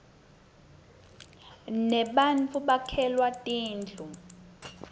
nebattfu bakhelwa tindlu